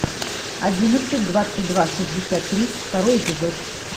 одиннадцать двадцать два шестьдесят три второй эпизод